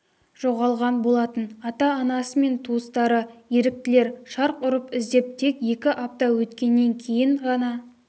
жоғалған болатын ата-анасы мен туыстары еріктілер шарқ ұрып іздеп тек екі апта өткеннен кейін ғана